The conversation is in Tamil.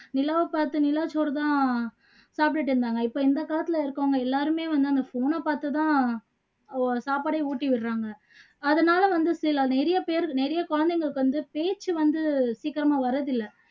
நிலாவை பாத்து நிலா சோறு தான் சாப்பிட்டு இருந்தாங்க இந்த காலத்துல இருக்கவங்க எல்லாருமே வந்து அந்த phone அ பாத்து தான் சாப்பாடே ஊட்டி விடுறாங்க அதுனால வந்து சில நிறைய பேரு நிறைய குழந்தைங்களுக்கு வந்து பேச்சு வந்து சீக்கிரமா வர்றது இல்ல